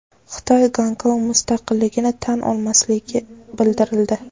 Xitoy Gonkong mustaqilligini tan olmasligi bildirildi.